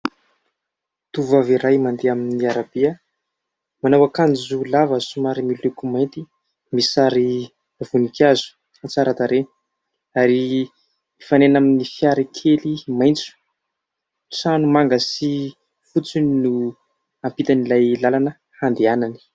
Tovavy iray mandeha amin'ny arabe manao akanjo lava somary miloko mainty, misy sary vonikazo an-tsaratarehy ary mifanena amin'ny fiara kely maintso trano manga sy fotsony no hampitan'ilay lalana handehanany.